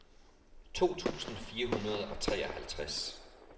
to tusind fire hundrede og treoghalvtreds